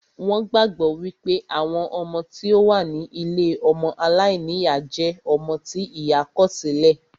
Wón gbàgbọ́ wípé àwọn ọmọ tí ó wà ní ilée ọmọ aláìníyá jẹ́ ọmọ tí ìyá kọ̀ sí lẹ̀